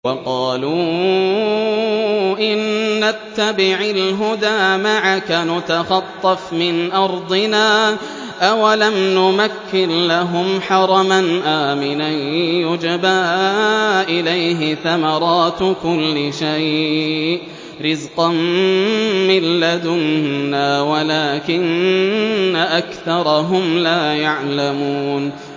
وَقَالُوا إِن نَّتَّبِعِ الْهُدَىٰ مَعَكَ نُتَخَطَّفْ مِنْ أَرْضِنَا ۚ أَوَلَمْ نُمَكِّن لَّهُمْ حَرَمًا آمِنًا يُجْبَىٰ إِلَيْهِ ثَمَرَاتُ كُلِّ شَيْءٍ رِّزْقًا مِّن لَّدُنَّا وَلَٰكِنَّ أَكْثَرَهُمْ لَا يَعْلَمُونَ